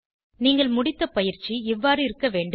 நீங்கள் முடித்த பயிற்சி இவ்வாறு இருக்க வேண்டும்